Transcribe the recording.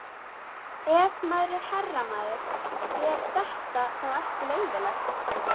Ef maður er herramaður, er þetta þá ekki leyfilegt?